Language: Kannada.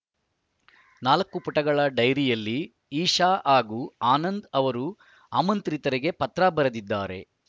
ನಾಲ್ಕು ಪುಟಗಳ ಡೈರಿಯಲ್ಲಿ ಇಶಾ ಹಾಗೂ ಆನಂದ್‌ ಅವರು ಆಮಂತ್ರಿತರಿಗೆ ಪತ್ರ ಬರೆದಿದ್ದಾರೆ